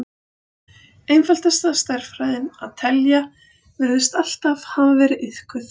Einfaldasta stærðfræðin, að telja, virðist alltaf hafa verið iðkuð.